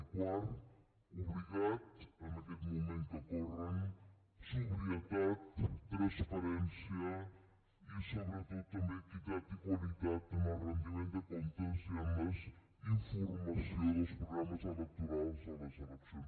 i quart obligat en aquests moments que corren sobrietat transparència i sobretot també equitat i qualitat en el rendiment de comptes i en la informació dels programes electorals a les eleccions